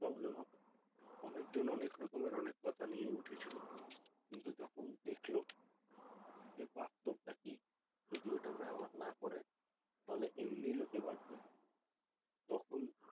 Problem হবে অনেক জন অনেক রকমের কথা নিয়ে উঠেছিল কিন্তু যখন দেখলো যে বাস্তব টা কি যদি এটা ব্যবহার না করেন তাহলে এমনি লোকে বাচঁবেনা তখন